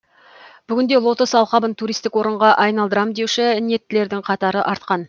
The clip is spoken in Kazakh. бүгінде лотос алқабын туристік орынға айналдырам деуші ниеттілердің қатары артқан